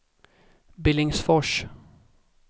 Billingsfors